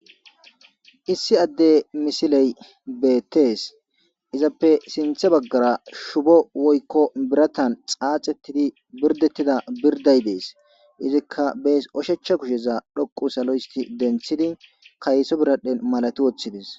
Issi adde misiley beetes izappe sinthe baggara shubo woyko biratan xaaxetidi birdettida birday de'es izika bes oshicha kushaza dhoqu salo histi denthidi kayso biradhen malati woththides.